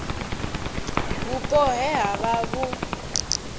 vhupo he ha vha vhu